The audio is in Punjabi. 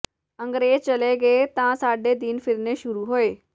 ਅੰਗਰੇਜ਼ ਚਲੇ ਗਏ ਤਾਂ ਸਾਡੇ ਦਿਨ ਫਿਰਨੇ ਸ਼ੁਰੂ ਹੋਏ